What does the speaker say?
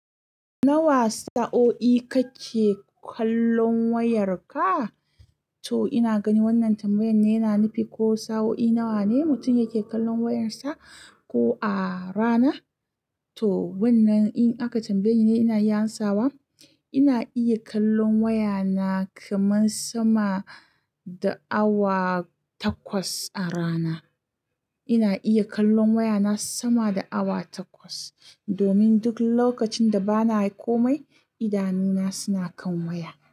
Nawa sa'o'i kake kallon wayarka? To ina ganin wannan tambayan ne yana nufi ko sa'o'i nawa ne mutum yake kallon wayarsa ko a rana? To wannan in aka tambaye ni ni ina iya amsawa. Ina iya kallon waya na kaman sama da awa takwas a rana. Ina iya kallon waya na sama da awa takwas. Domin duk lokacin da ba na yi komai, idanuna suna kan waya.